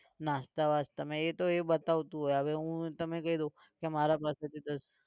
નાસ્તા બાસ્તા માં એ તો એ બતાવતું હોય હવે હું તમે કીધું કે મારા પાસેથી દસ